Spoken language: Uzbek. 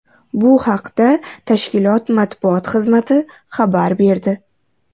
Bu haqda tashkilot matbuot xizmati xabar berdi.